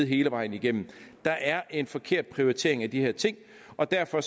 hele vejen igennem der er en forkert prioritering af de her ting og derfor